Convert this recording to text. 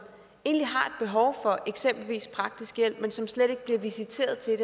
et behov for eksempelvis praktisk hjælp men som slet ikke bliver visiteret til